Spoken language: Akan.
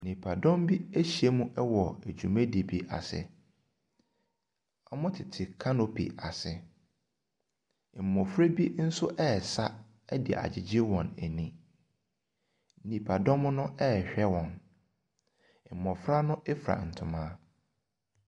Nnipadɔm bi ahyiam wɔ dwumadie bi ase. Wɔtete canopy ase. Mmɔfra bi nso resa de agyegye wɔn ani. Nnipadɔm no rehwɛ wɔn. Mmɔfra no fura ntoma.